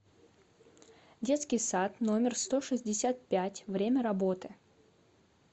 детский сад номер сто шестьдесят пять время работы